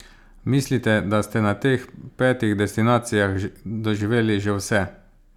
Mislite, da ste na teh petih destinacijah doživeli že vse?